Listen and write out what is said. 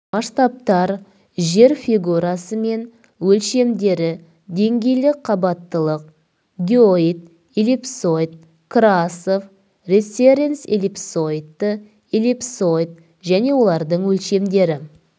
масштабтар жер фигурасы мен өлшемдері деңгейлік қабаттылық геоид эллипсоид красов референц-эллипсоиді эллипсоид және олардың өлшемдері